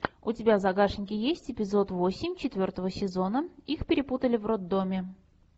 у тебя в загашнике есть эпизод восемь четвертого сезона их перепутали в роддоме